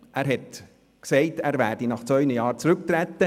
Er sagte zwar, er wolle nach zwei Jahren zurücktreten.